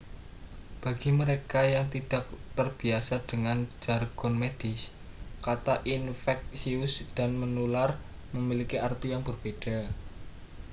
bagi mereka yang tidak terbiasa dengan jargon medis kata infeksius dan menular memiliki arti yang berbeda